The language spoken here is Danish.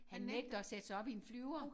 Han nægter at sætte sig op i en flyver